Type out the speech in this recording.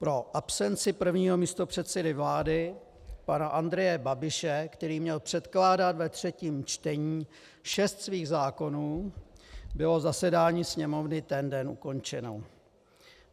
Pro absenci prvního místopředsedy vlády pana Andreje Babiše, který měl předkládat ve třetím čtení šest svých zákonů, bylo zasedání Sněmovny ten den ukončeno.